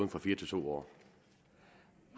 fra fire til to år